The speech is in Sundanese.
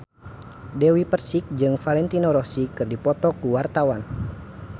Dewi Persik jeung Valentino Rossi keur dipoto ku wartawan